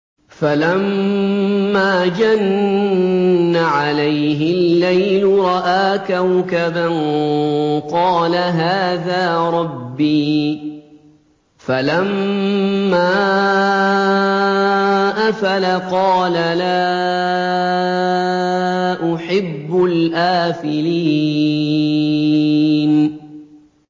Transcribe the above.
فَلَمَّا جَنَّ عَلَيْهِ اللَّيْلُ رَأَىٰ كَوْكَبًا ۖ قَالَ هَٰذَا رَبِّي ۖ فَلَمَّا أَفَلَ قَالَ لَا أُحِبُّ الْآفِلِينَ